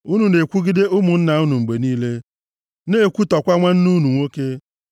Unu na-ekwugide ụmụnna unu mgbe niile, na-ekwutọkwa nwanne unu nwoke.